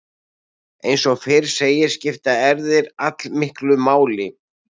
Eins og fyrr segir skipta erfðir allmiklu máli.